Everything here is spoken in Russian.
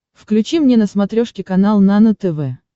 включи мне на смотрешке канал нано тв